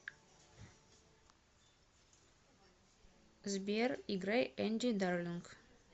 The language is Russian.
сбер играй энди дарлинг